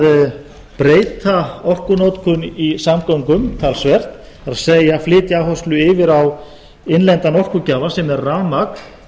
unnt að breyta orkunotkun í samgöngum talsvert það er að flytja áherslu yfir á innlendan orkugjafa sem er rafmagn